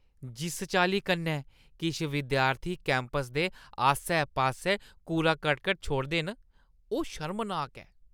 जिस चाल्ली कन्नै किश विद्यार्थी कैंपस दे आस्सै-पास्सै कूड़ा-करकट छोड़दे न, ओह् शर्मनाक ऐ।